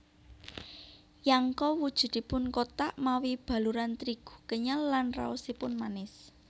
Yangko wujudipun kothak mawi baluran trigu kenyal lan raosipun manis